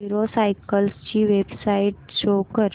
hero cycles ची website show कर